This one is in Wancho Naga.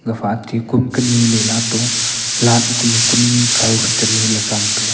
gafa ate komkah nileylato light kanu kun chaau phai niley chemtaga.